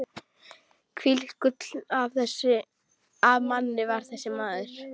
Hvílíkt gull af manni var þessi maður!